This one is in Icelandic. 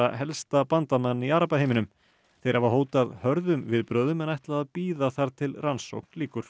helsta bandamann í arabaheiminum þeir hafa hótað hörðum viðbrögðum en ætla að bíða þar til rannsókn lýkur